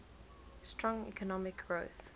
strong economic growth